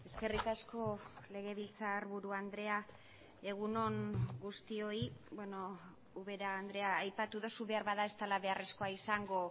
eskerrik asko legebiltzarburu andrea egun on guztioi ubera andrea aipatu duzu beharbada ez dela beharrezkoa izango